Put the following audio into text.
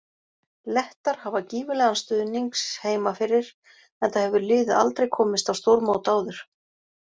Lettar hafa gífurlegan stuðnings heima fyrir enda hefur liðið aldrei komist á stórmót áður.